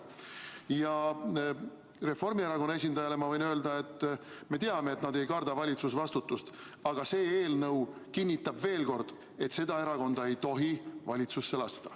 Ja Reformierakonna esindajale ma võin öelda, et me teame, et nad ei karda valitsusvastutust, aga see eelnõu kinnitab veel kord, et seda erakonda ei tohi valitsusse lasta.